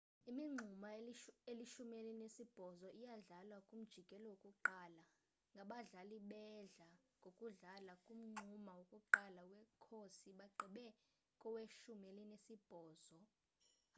imingxuma elishumi elinesibhozo iyadlalwa kumjikelo wokuqala ngabadlali bedla ngokudlala kumngxuma wokuqala wekhosi bagqibe koweshumi elinesibhozo